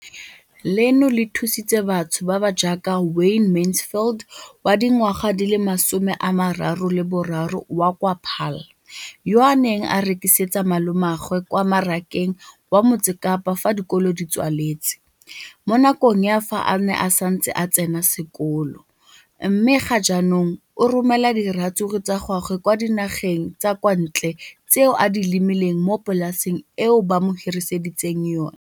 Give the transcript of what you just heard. leno le thusitse batho ba ba jaaka Wayne Mansfield, 33, wa kwa Paarl, yo a neng a rekisetsa malomagwe kwa Marakeng wa Motsekapa fa dikolo di tswaletse, mo nakong ya fa a ne a santse a tsena sekolo, mme ga jaanong o romela diratsuru tsa gagwe kwa dinageng tsa kwa ntle tseo a di lemileng mo polaseng eo ba mo hiriseditseng yona.